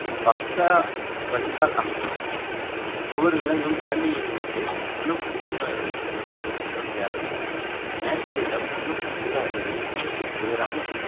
பக்கா வடிகால் அமைக்கவும் ஒவ்வொரு விலங்கும் இரண்டு into ஒண்ணு புள்ளி zero ஐந்து meter நிற்குமிடம் தேவை மெங்கரையிடம் ஒண்ணு புள்ளி zero ஐந்து meter உம் உயரம்